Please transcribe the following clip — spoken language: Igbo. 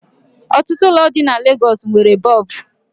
Otutu ụlọ di na Lagosi nwere Boobu